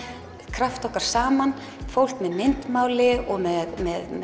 krafta okkar saman fólk með myndmáli og með